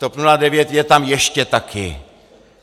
TOP 09 je tam ještě taky.